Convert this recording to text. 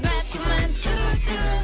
бәк күмән түрлі түрлі